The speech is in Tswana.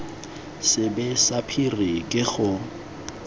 sebe sa phiri ke gore